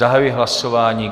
Zahajuji hlasování.